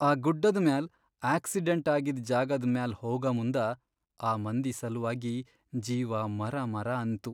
ಆ ಗುಡ್ಡದ್ ಮ್ಯಾಲ್ ಆಕ್ಸಿಡೆಂಟ್ ಆಗಿದ್ ಜಾಗದ್ ಮ್ಯಾಲ್ ಹೋಗಮುಂದ ಆ ಮಂದಿ ಸಲ್ವಾಗಿ ಜೀವ ಮರಮರ ಅನ್ತು.